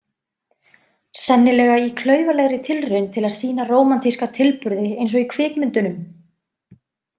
Sennilega í klaufalegri tilraun til að sýna rómantíska tilburði eins og í kvikmyndunum.